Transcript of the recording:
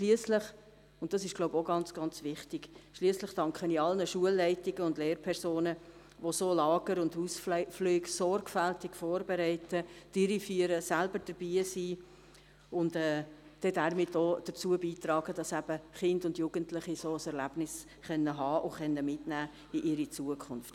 Schliesslich – dies ist, glaube ich, auch ganz, ganz wichtig – schliesslich danke ich allen Schulleitungen und Lehrpersonen, die solche Lager und Ausflüge sorgfältig vorbereiten, durchführen, selbst dabei sind und damit auch dazu beitragen, dass Kinder und Jugendliche ein solches Erlebnis haben und in ihre Zukunft mitnehmen können.